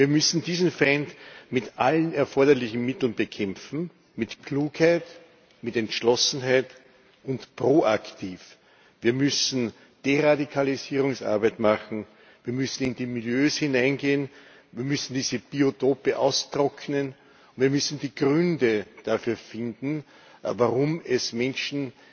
Wir müssen diesen Feind mit allen erforderlichen Mitteln bekämpfen mit Klugheit, mit Entschlossenheit und proaktiv. Wir müssen Deradikalisierungsarbeit machen, wir müssen in die Milieus hineingehen, wir müssen diese Biotope austrocknen, und wir müssen die Gründe dafür finden, warum es Menschen